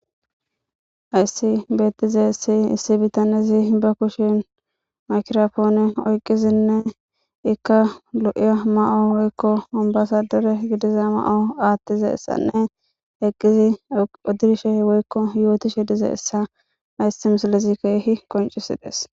Hayssi beettize issi issi bitanizi ba kushin makiropoone oyqizinne ikka lo7iya ma7o woykko ambasadore gidiza ma7o aattiza essanne eqqizi odirshe woykko yootishe diza essa aysi mislezi keehi qoncisides